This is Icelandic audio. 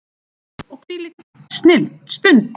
Og hvílík stund!